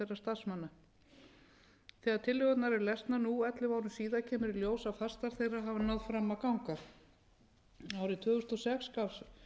starfsmanna þegar tillögurnar eru lesnar nú ellefu árum síðar kemur í ljós að flestar þeirra hafa náð fram að ganga árið tvö þúsund og sex gaf fjármálaráðuneytið